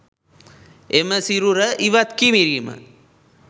එම සිරුර ඉවත් කිරීම